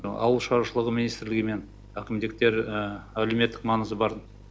ауыл шаруашылығы министрлігі мен әкімдіктер әлеуметтік маңызы бар